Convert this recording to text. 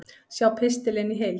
Sjá pistilinn í heild